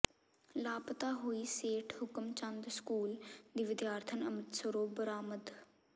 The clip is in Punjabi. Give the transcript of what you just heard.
ਲਾਪਤਾ ਹੋਈ ਸੇਠ ਹੁਕਮ ਚੰਦ ਸਕੂਲ ਦੀ ਵਿਦਿਆਰਥਣ ਅੰਮਿ੍ਰਸਤਰੋਂ ਬਰਾਮਦ